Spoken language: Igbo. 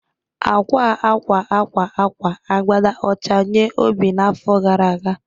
Akwa akwa akwa akwa akwa agbada ọcha nye Obi n’afọ gara aga